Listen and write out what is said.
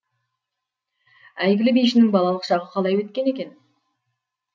әйгілі бишінің балалық шағы қалай өтті екен